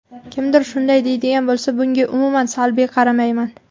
Kimdir shunday deydigan bo‘lsa, bunga umuman salbiy qaramayman.